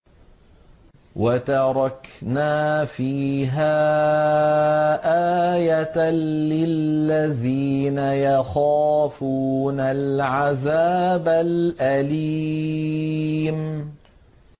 وَتَرَكْنَا فِيهَا آيَةً لِّلَّذِينَ يَخَافُونَ الْعَذَابَ الْأَلِيمَ